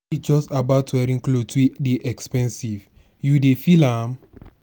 no be just about wearing cloth wey dey expensive you dey feel am?